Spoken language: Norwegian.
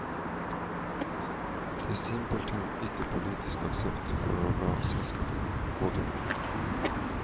Det simpelthen ikke politisk aksept for å la selskapene gå dukken.